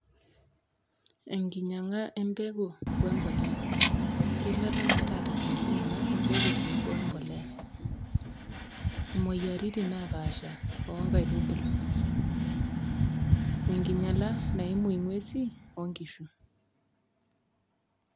Enkinyanga empeku we embolea, kilepa naa taata enkinyanga empeku tenebo empolea ,moyiaritin naapasha oonkaitubulu ,enkinyala naimu ngwesin onkishu.